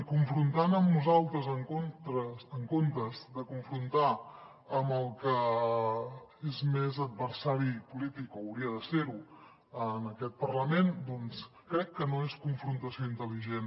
confrontant amb nosaltres en comptes de confrontar amb el que és més adversari polític o hauria de ser ho en aquest parlament doncs crec que no és confrontació intel·ligent